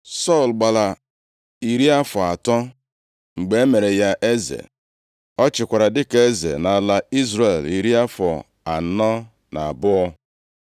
Sọl gbara iri afọ atọ + 13:1 Nʼụfọdụ akwụkwọ ndị ọgbara ọhụrụ e nweghị ọnụọgụgụ a mgbe e mere ya eze. Ọ chịkwara dịka eze nʼala Izrel iri afọ anọ na abụọ.